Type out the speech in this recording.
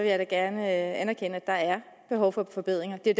jeg da gerne anerkende at der er behov for forbedringer det er